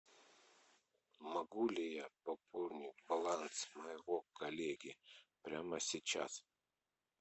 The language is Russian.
могу ли я пополнить баланс моего коллеги прямо сейчас